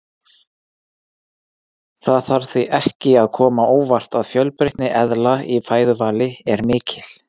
Það þarf því ekki að koma á óvart að fjölbreytni eðla í fæðuvali er mikil.